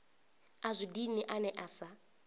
a zwi dini ane asa